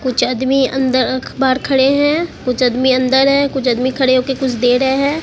कुछ आदमी अंदर बाहर खड़े हैं कुछ आदमी अंदर हैं कुछ आदमी खड़े होके कुछ दे रहे हैं।